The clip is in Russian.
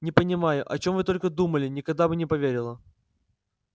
не понимаю о чём вы только думали никогда бы не поверила